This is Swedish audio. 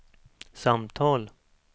samtal